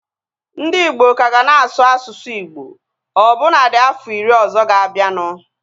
Ndị igbo ka ga na-asụ asụsụ Igbo ọbụna dị afọ iri ọzọ ga-abianu